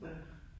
Ja